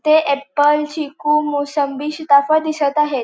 ते एप्पल चिकू मोसंबी शीताफळ दिसत आहेत.